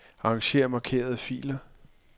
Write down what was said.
Arranger markerede filer.